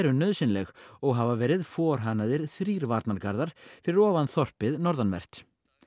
nauðsynleg og hafa verið þrír varnargarðar fyrir ofan þorpið norðanvert